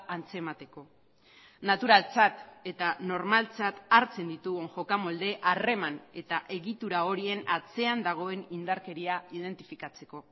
antzemateko naturaltzat eta normaltzat hartzen ditugun jokamolde harreman eta egitura horien atzean dagoen indarkeria identifikatzeko